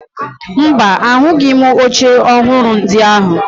Mba, ahụghị m oche ọhụrụ ndị ahụ